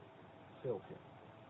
селфи